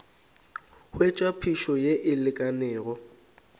hwetša phišo ye e lekanego